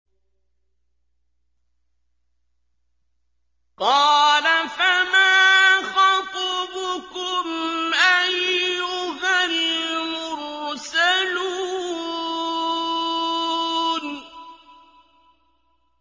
قَالَ فَمَا خَطْبُكُمْ أَيُّهَا الْمُرْسَلُونَ